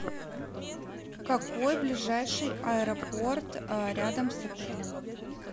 какой ближайший аэропорт рядом с отелем